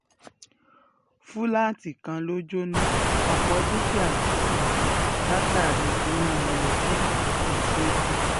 fúláàtì kan ló jóná ọ̀pọ̀ dúkìá sí ṣègbè látàrí iná elétíríìkì tó ṣẹ́jú